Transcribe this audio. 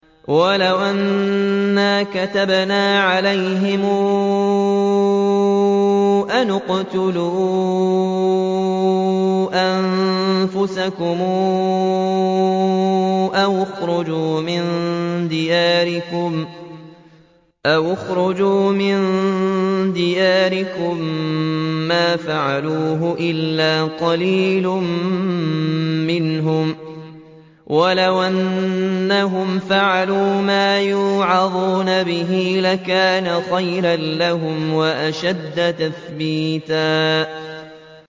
وَلَوْ أَنَّا كَتَبْنَا عَلَيْهِمْ أَنِ اقْتُلُوا أَنفُسَكُمْ أَوِ اخْرُجُوا مِن دِيَارِكُم مَّا فَعَلُوهُ إِلَّا قَلِيلٌ مِّنْهُمْ ۖ وَلَوْ أَنَّهُمْ فَعَلُوا مَا يُوعَظُونَ بِهِ لَكَانَ خَيْرًا لَّهُمْ وَأَشَدَّ تَثْبِيتًا